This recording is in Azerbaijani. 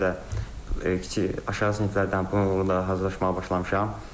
Buna görə də kiçik aşağı siniflərdən bunun da hazırlaşmağa başlamışam.